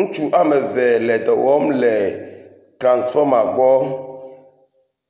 Ŋutsu ame eve le dɔ wɔm le transfɔma gbɔ.